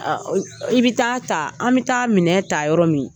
I bi taa ta, an bi taa minɛw ta yɔrɔ min